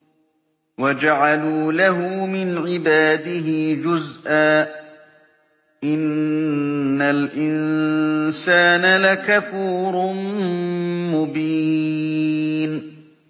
وَجَعَلُوا لَهُ مِنْ عِبَادِهِ جُزْءًا ۚ إِنَّ الْإِنسَانَ لَكَفُورٌ مُّبِينٌ